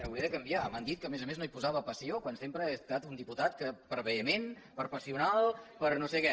hauré de canviar m’han dit que a més a més no hi posava passió quan sempre he estat un diputat que per vehement per passional per no sé què